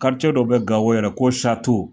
dɔ bɛ Gawo yɛrɛ ko